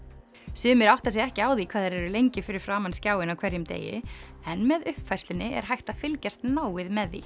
sumir átta sig ekki á því hvað þeir eru lengi fyrir framan skjáinn á hverjum degi en með uppfærslunni er hægt að fylgjast náið með því